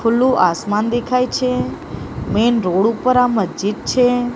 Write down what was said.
ખુલ્લુ આસમાન દેખાય છે મેન રોડ ઉપર આ મસ્જિદ છે.